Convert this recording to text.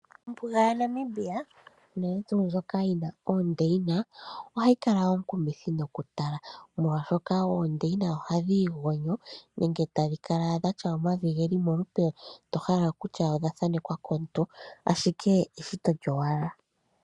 Ombuga yaNamibia, uunene tuu ndjoka yina oondeyina, ohayibkala onkumuthi no kutala molwashkka oondeyina ohadhi igonyo, nenge tadhi kala gatya omavi geli molupe to hala kutya odha thaanekwa komuntu, ashike eshito lyo wala.